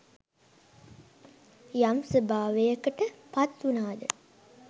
යම් ස්වභාවයකට පත්වුණාද